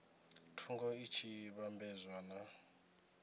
thungo i tshi vhambedzwa na